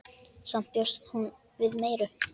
Samt bjóst hún við meiru.